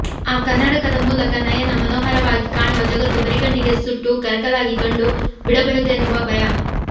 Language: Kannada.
ಆ ಕನ್ನಡಕದ ಮೂಲಕ ನಯನ ಮನೋಹರವಾಗಿ ಕಾಣುವ ಜಗತ್ತು ಬರಿಗಣ್ಣಿಗೆ ಸುಟ್ಟು ಕರಕಲಾಗಿ ಕಂಡು ಬಿಡಬಹುದೆನ್ನುವ ಭಯ